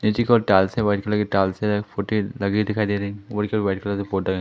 white colour की tiles है photo लगी हुई दिखाई दे रही ब्लू कलर वाइट कलर से पोता--